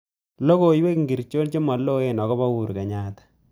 Logoywek ngircho chemaloen agoba Uhuru Kenyatta